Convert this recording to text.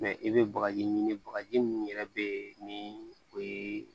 i bɛ bagaji ɲini bagaji minnu yɛrɛ be yen ni o ye